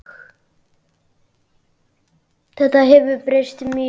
Þetta hefur breyst mjög.